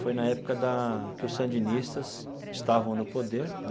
Foi na época da que os sandinistas estavam no poder.